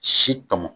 Si tɔmɔ